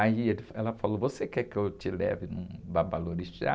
Aí ele, ela falou, você quer que eu te leve num babalorixá?